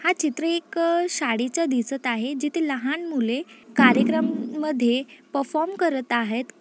हा चित्र एक शाळेचा दिसत आहे जिथे लहान मुले कार्यक्रम मध्ये परफॉर्म करत आहेत.